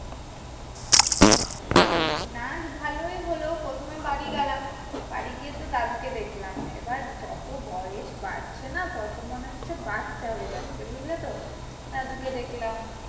নাচ ভালোই হলো। প্রথমে বাড়ি গেলাম। বাড়ি গিয়ে তো দাদুকে দেখলাম। এবার যত বয়স বাড়ছে না? তত মনে হচ্ছে বাচ্চা হয়ে যাচ্ছে বুঝলে তো? দাদুকে দেখলাম